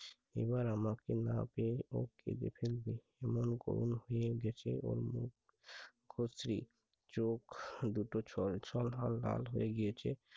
এবার আমাকে না পেয়ে ও কেঁদে ফেলবে। এমন করুণ হয়ে গেছে ওর মুখ। কচি চোখ দুটো ছলছল আর লাল হয়ে গিয়েছে।